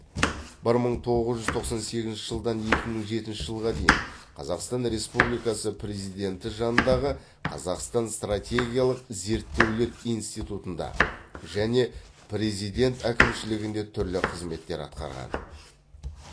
бір мың тоғыз жүз тоқсан сегізінші жылдан екі мың жетінші жылға дейін қазақстан республикасы президенті жанындағы қазақстан стратегиялық зерттеулер институтында және президент әкімшілігінде түрлі қызметтер атқарған